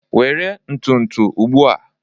Were ntụtụ ugbu a!